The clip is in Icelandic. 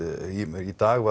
í dag